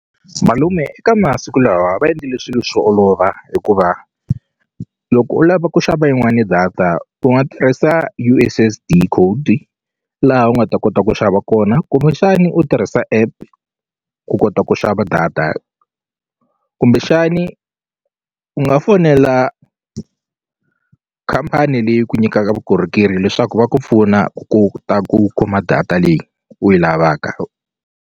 Malume eka masiku lawa va endlile swilo swi olova hikuva loko u lava ku xava yin'wani data u nga tirhisa U_S_S_D code laha u nga ta kota ku xava kona kumbexani u tirhisa app ku kota ku xava data kumbexani u nga fonela khampani leyi ku nyikaka vukorhokeri leswaku va ku pfuna ku ta ku kuma data leyi u yi lavaka.